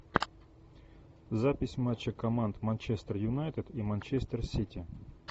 запись матча команд манчестер юнайтед и манчестер сити